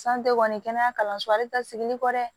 kɔni kɛnɛya kalanso ale ta sigili kɔ dɛ